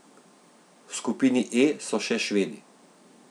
V skupini E so še Švedi.